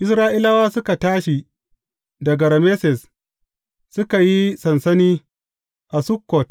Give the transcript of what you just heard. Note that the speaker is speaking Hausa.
Isra’ilawa suka tashi daga Rameses, suka yi sansani a Sukkot.